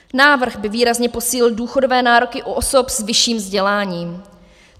Návrh by výrazně posílil důchodové nároky u osob s vyšším vzděláním.